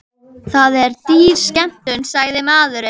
Það er dýr skemmtun, sagði maðurinn.